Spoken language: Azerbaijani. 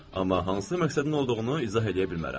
Amma hansı məqsədin olduğunu izah eləyə bilmərəm.